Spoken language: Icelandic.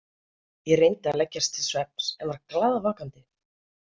Ég reyndi að leggjast til svefns en var glaðvakandi.